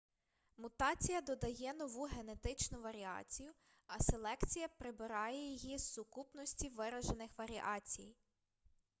мутація додає нову генетичну варіацію а селекція прибирає її з сукупності виражених варіацій